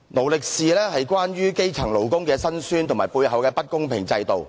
"勞力是"講述基層勞工的辛酸和背後的不公平制度，